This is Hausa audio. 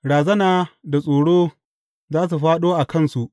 Razana da tsoro za su fāɗo a kansu.